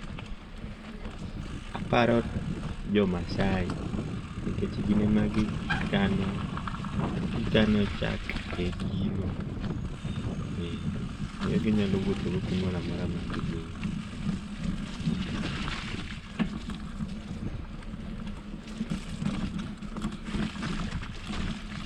Aparo jo Maasai nikech gin ema gikano gikano chak e gino, eh miyo ginyalo wuothogo kumoro amora ma gidhiye.